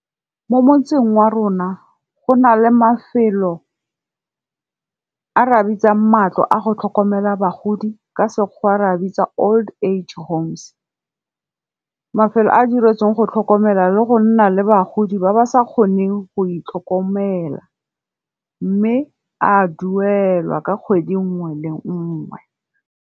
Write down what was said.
Mo motseng wa rona, go na le mafelo a re a bitsang matlo a go tlhokomela bagodi ka sekgowa re a bitsa old age homes. Mafelo a diretsweng go tlhokomela le go nna le bagodi ba ba sa kgoneng go itlhokomela. Mme a duelwa ka kgwedi nngwe le nngwe.